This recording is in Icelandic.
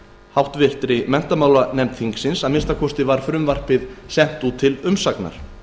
háttvirtri menntamálanefnd þingsins að minnsta kosti var frumvarpið sent út til umsagnar